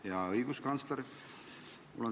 Hea õiguskantsler!